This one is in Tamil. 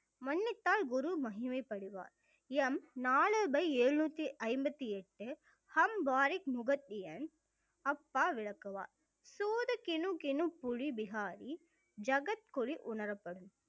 மன்னித்தால் குரு மகிமை படுவார் m நான்கு by எழுநூத்தி ஐம்பத்தி எட்டு ஹம் பாரிக் முகத்தியெண் அப்பா விளக்குவார் சூதுக்கினும்~கினும் புளி விகாரி ஜகத்குலி உணரப்படும்